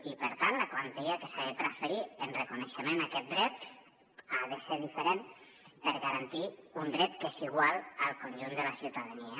i per tant la quantia que s’ha de transferir en reconeixement a aquest dret ha de ser diferent per garantir un dret que és igual per al conjunt de la ciutadania